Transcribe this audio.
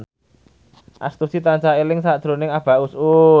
Astuti tansah eling sakjroning Abah Us Us